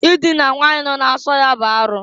Idina nwanyi nọ na nso ya bụ arụ.